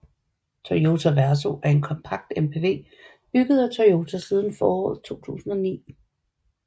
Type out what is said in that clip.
Toyota Verso er en kompakt MPV bygget af Toyota siden foråret 2009